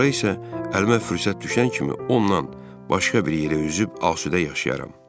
Sonra isə əlimə fürsət düşən kimi ondan başqa bir yerə üzüb asudə yaşayaram.